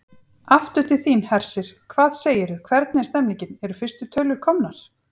Aftur til þín, Hersir, hvað segirðu, hvernig er stemningin, eru fyrstu tölur komnar?